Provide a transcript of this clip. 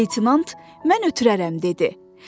Leytenant, mən ötürərəm, dedi.